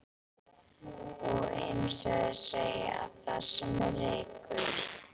Og, eins og þeir segja: Þar sem er reykur.